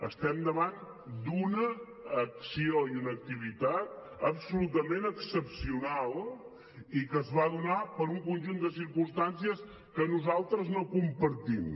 estem davant d’una acció i una activitat absolutament excepcionals i que es va donar per un conjunt de circumstàncies que nosaltres no compartim